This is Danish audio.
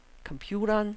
computeren